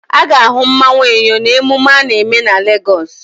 A ga-ahụ mmanwụ Eyo na-emume a na-eme na Legọs.